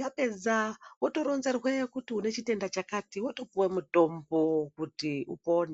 yapedza wotoronzerwa kuti une chitenda chakati wapedza wotopuwe mutombo kuti upone.